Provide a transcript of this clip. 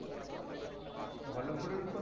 বল্লভপুরের রূপ,